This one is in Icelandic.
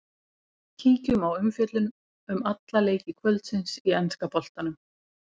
Kíkjum á umfjöllun um alla leiki kvöldsins í enska boltanum.